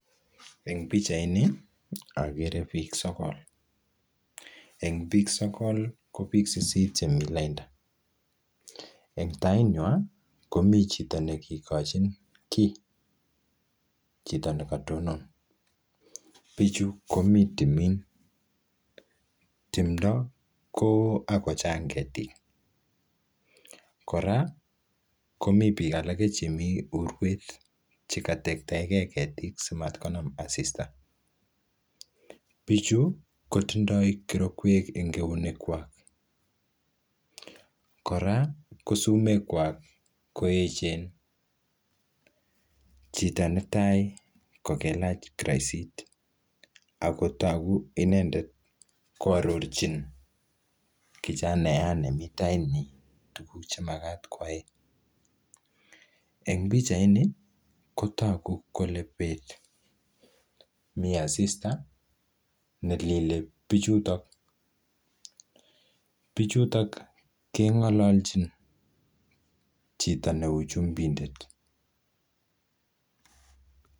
Eng' pichait ni, agere biik sogol. Eng biik sogol, ko biik sisit chemii lainda. Eng' tait nywaa, komi chito nekikochin kiy. Chito nekatonon. Bichu komii timin. Timdo koo ako chang ketik. Kora komii biik alake chemi urwet chekatektaeke ketik simatkonam asista. Bichu, kotindoi kirokwek eng' keunek kwak. Kora, ko sumekwak ko echen. Chito ne tai, kokelach kiroisit. Ako togu inendet koarorchin kichanaiyat nemi tait nyi tuguk che magat kwai. Eng' pichait ni, kotogu kole beet. Mii asista nelile bichutok. Bichutok, kengalalchin chito neu chumbindet.